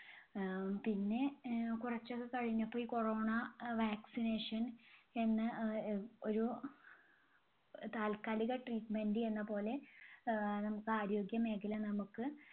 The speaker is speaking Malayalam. ആഹ് പിന്നെ അഹ് കുറച്ചൊക്കെ കഴിഞ്ഞപ്പോ ഈ corona അഹ് vaccination എന്ന് ആഹ് അഹ് ഒരു അഹ് താൽക്കാലിക treatment എന്ന പോലെ ആഹ് നമുക്ക് ആരോഗ്യ മേഖല നമുക്ക്